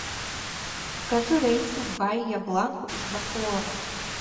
покажи рейсы в баия бланку из бакоора